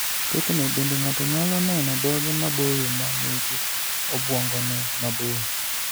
Thothne bende ng'ato nyalo neno dhoge maboyo ma nigi obwongone maboyo.